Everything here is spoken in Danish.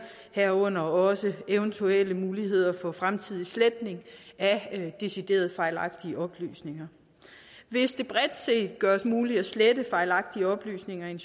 herunder også eventuelle muligheder for fremtidig sletning af decideret fejlagtige oplysninger hvis det bredt gøres muligt at slette fejlagtige oplysninger i